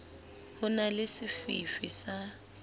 ho na le sefifi sa